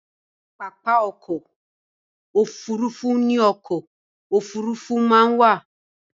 Pápá ọkọ̀-òfurufú ní ọkọ̀-òfurufú máa ń wà.